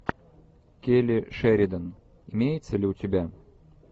келли шеридан имеется ли у тебя